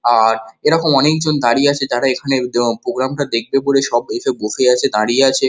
আ- র এরকম অনেক জন দাঁড়িয়ে আছে যারা এখানে এ প্রোগ্রাম টা দেখবে বলে বসে আছে দাঁড়িয়ে আছে।